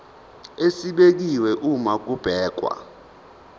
esibekiwe uma kubhekwa